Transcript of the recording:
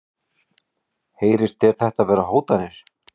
Heyrist þér þetta vera hótanir?